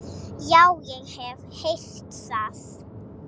Já, ég hef heyrt það.